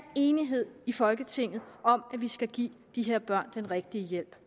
enighed i folketinget om at vi skal give de her børn den rigtige hjælp